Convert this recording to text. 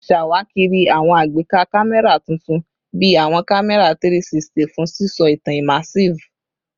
Ṣawakiri awọn agbeka kamẹra tuntun bi awọn kamẹra 360 fun sisọ itan immersive